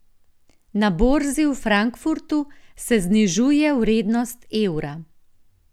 Na borzi v Frankfurtu se znižuje vrednost evra.